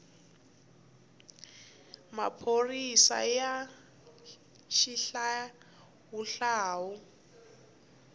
maphorisaya xihlawuhlawu